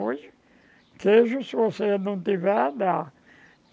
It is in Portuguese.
Hoje, queijo, se você não tiver, dá.